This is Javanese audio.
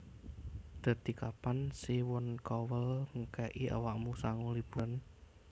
Dadi kapan Simon Cowell ngeke'i awakmu sangu liburan?